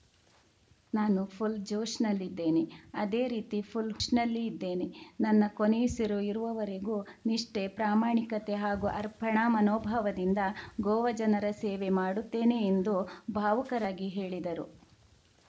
ನಾನು ಫುಲ್‌ ಜೋಶ್‌ನಲ್ಲಿದ್ದೇನೆ ಅದೇ ರೀತಿ ಫುಲ್‌ ಹೋಶ್‌ನಲ್ಲಿ ಇದ್ದೇನೆ ನನ್ನ ಕೊನೆಯುಸಿರು ಇರುವವರೆಗೂ ನಿಷ್ಠೆ ಪ್ರಾಮಾಣಿಕತೆ ಹಾಗೂ ಅರ್ಪಣಾ ಮನೋಭಾವದಿಂದ ಗೋವಾ ಜನರ ಸೇವೆ ಮಾಡುತ್ತೇನೆ ಎಂದು ಭಾವುಕರಾಗಿ ಹೇಳಿದರು